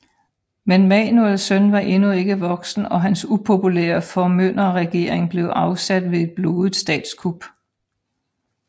Men Manuels søn var endnu ikke voksen og hans upopulære formynderregering blev afsat ved et blodigt statskup